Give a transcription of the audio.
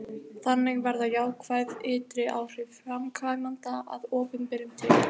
þannig verða jákvæð ytri áhrif framkvæmdanna að opinberum tekjum